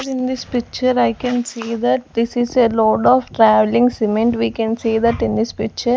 in this picture i can see that this is a load of travelling cement we can see that in this picture.